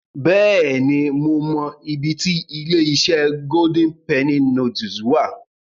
Bẹ́ẹ̀ni, mo mọ ibi ti ilé-iṣẹ́ Golden Penny Noodles wà.